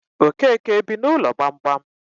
Okeke ebi n'ụlọ gbamgbam?